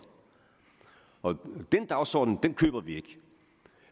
og den dagsorden køber vi ikke